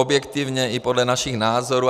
Objektivně i podle našich názorů.